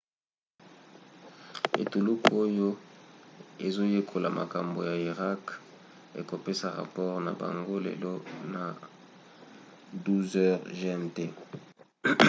etuluku oyo ezoyekola makambo ya irak ekopesa rapore na bango lelo na 12h00 gmt